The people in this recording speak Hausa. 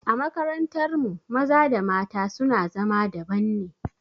A makarantar mu maza da mata su na zama daban ne